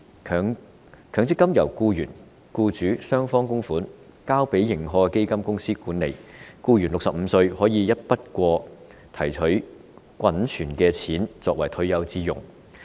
強積金由僱員和僱主雙方供款，交由認可的基金公司管理，僱員在65歲時便可以一筆過提取滾存的強積金作為退休之用。